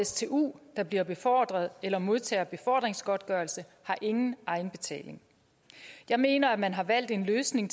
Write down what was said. stu der bliver befordret eller modtager befordringsgodtgørelse har ingen egenbetaling jeg mener at man har valgt en løsning